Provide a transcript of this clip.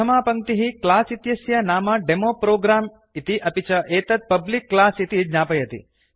प्रथमा पङ्क्तिः क्लास् इत्यस्य नाम डेमोप्रोग्राम् इति अपि च एतत् पब्लिक क्लास इति ज्ञापयति